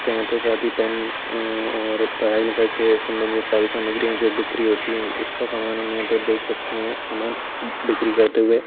ते यहाँ पे सादी पेन अ अ और पढ़ाई-लिखाई से सम्बंधित सारी सामग्रियां जो बिक्री होती है उसका सामान हम यहाँ पर देख सकते है सामान बि-बिक्री करते हुए।